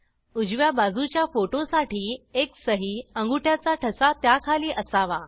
उजव्या बाजूच्या फोटो साठी एक सही अंगुठ्याचा ठसा त्याखाली असावा